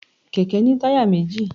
kẹkẹ ni tayá mejí